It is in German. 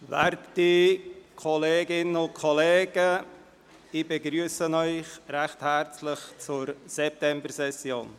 Werte Kolleginnen und Kollegen, ich begrüsse Sie herzlich zur Septembersession.